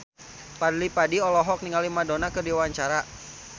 Fadly Padi olohok ningali Madonna keur diwawancara